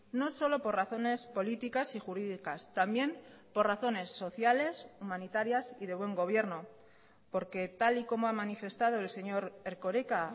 no solo por razones políticas y jurídicas también por razones sociales humanitarias y de buen gobierno porque tal y como ha manifestado el señor erkoreka